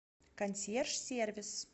консьерж сервис